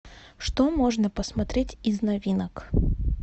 что можно посмотреть из новинок